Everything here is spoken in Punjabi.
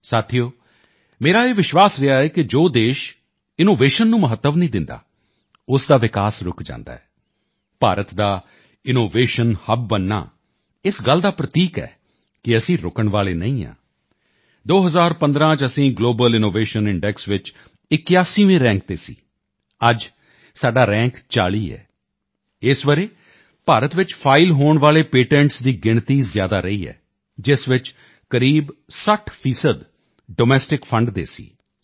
ਸਾਥੀਓ ਮੇਰਾ ਇਹ ਵਿਸ਼ਵਾਸ ਰਿਹਾ ਹੈ ਕਿ ਜੋ ਦੇਸ਼ ਇਨੋਵੇਸ਼ਨ ਨੂੰ ਮਹੱਤਵ ਨਹੀਂ ਦਿੰਦਾ ਉਸ ਦਾ ਵਿਕਾਸ ਰੁਕ ਜਾਂਦਾ ਹੈ ਭਾਰਤ ਦਾ ਇਨੋਵੇਸ਼ਨ ਹੱਬ ਬਣਨਾ ਇਸ ਗੱਲ ਦਾ ਪ੍ਰਤੀਕ ਹੈ ਕਿ ਅਸੀਂ ਰੁਕਣ ਵਾਲੇ ਨਹੀਂ ਹਾਂ 2015 ਵਿੱਚ ਅਸੀਂ ਗਲੋਬਲ ਇਨੋਵੇਸ਼ਨ ਇੰਡੈਕਸ ਵਿੱਚ 81ਵੇਂ ਰੈਂਕ ਤੇ ਸੀ ਅੱਜ ਸਾਡਾ ਰੈਂਕ 40 ਹੈ ਇਸ ਵਰ੍ਹੇ ਭਾਰਤ ਵਿੱਚ ਫਾਈਲ ਹੋਣ ਵਾਲੇ ਪੇਟੈਂਟਸ ਦੀ ਗਿਣਤੀ ਜ਼ਿਆਦਾ ਰਹੀ ਹੈ ਜਿਸ ਵਿੱਚ ਕਰੀਬ 60 ਫੀਸਦੀ ਡੋਮੈਸਟਿਕ ਫੰਡ ਦੇ ਸੀ ਕਿਊ